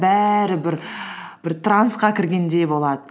бәрі бір бір трансқа кіргендей болады